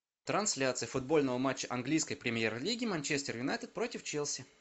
трансляция футбольного матча английской премьер лиги манчестер юнайтед против челси